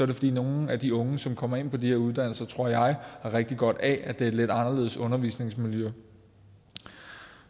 det fordi nogle af de unge som kommer ind på de her uddannelser tror jeg har rigtig godt af at det er et lidt anderledes undervisningsmiljø